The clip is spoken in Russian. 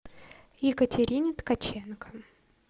екатерине ткаченко